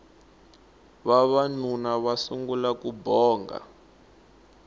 vavanuna va sungula ku bonga